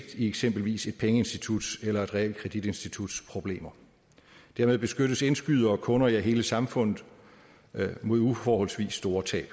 eksempelvis et pengeinstituts eller et realkreditinstituts problemer dermed beskyttes indskydere og kunder ja hele samfundet mod uforholdsvis store tab